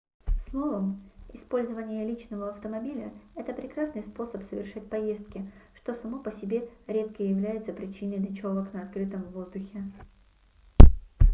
словом использование личного автомобиля это прекрасный способ совершать поездки что само по себе редко является причиной ночёвок на открытом воздухе